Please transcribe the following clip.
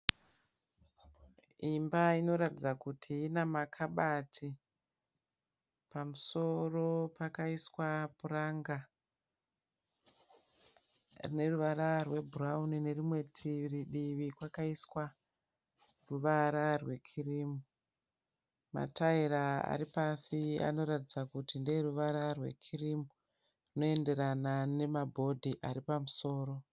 Imba inoratidza kuti ine makabati. Pamusoro pakaiswa puranga rine ruvara rwebhurawuni nerimwe divi kwakaiswa ruvara rwekirimu. Mataira ari pasi anoratidza kuti ndeeruvara rwekirimu runoenderana nebhodhi riri pamusoro.